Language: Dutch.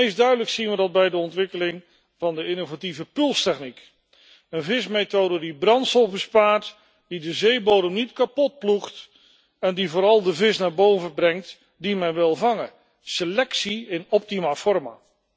Het duidelijkst zien we dat bij de ontwikkeling van de innovatieve pulstechniek, een vismethode die brandstof bespaart, die de zeebodem niet kapot ploegt en die vooral de vis naar boven brengt die men wil vangen, selectie in optima forma.